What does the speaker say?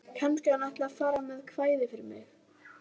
Kannski hann ætli að fara með kvæði fyrir mig.